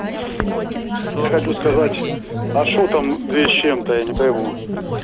я хочу сказать а что там две с чем-то я не пойму